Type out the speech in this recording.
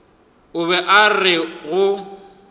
o be a re go